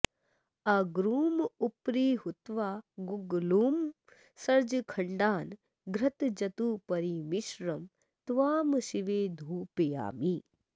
अगरुमुपरि हुत्वा गुग्गुलुं सर्जखण्डान् घृतजतुपरिमिश्रं त्वां शिवे धूपयामि